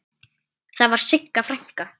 Og þar var Sigga frænka.